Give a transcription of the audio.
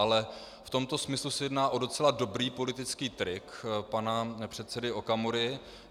Ale v tomto smyslu se jedná o docela dobrý politický trik pana předsedy Okamury.